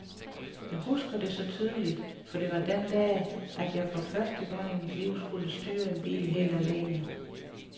Jeg husker det så tydeligt, for det var den dag, at jeg for første gang i mit liv skulle styre en bil helt alene.